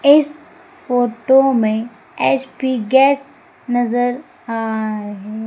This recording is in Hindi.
इस फोटो में एच_पी गैस नजर आ र--